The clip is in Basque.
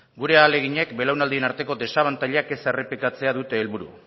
gure ahaleginek belaunaldien arteko desabantailak ez errepikatzea dute helburu